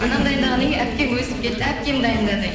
анам дайындағаннан кейін әпкем өсіп кетті әпкем дайындады